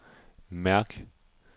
mærk